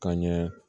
Ka ɲɛ